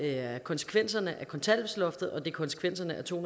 er konsekvenserne af kontanthjælpsloftet og det er konsekvenserne af to